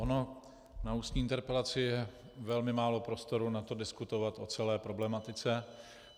Ono na ústní interpelaci je velmi málo prostoru na to diskutovat o celé problematice.